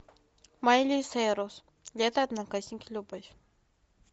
майли сайрус лето одноклассники любовь